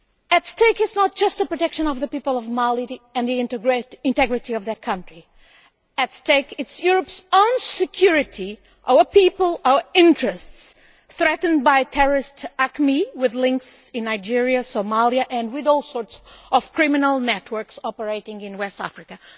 At stake is not just the protection of the people of Mali and the integrity of their country, at stake is Europe's own security, our people, our interests, threatened by the terrorist group AQMI with its links to Nigeria, Somalia, and all sorts of criminal networks operating in West Africa.